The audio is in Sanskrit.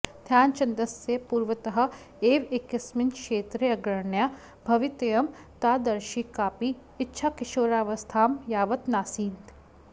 ध्यानचन्दस्य पूर्वतः एव एकस्मिन् क्षेत्रे अग्रण्या भवितव्यं तादृशी काऽपि इच्छा किशोरावस्थां यावत् नासीत्